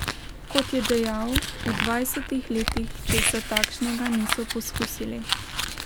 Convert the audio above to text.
Kot je dejal, v dvajsetih letih česa takšnega niso poskusili.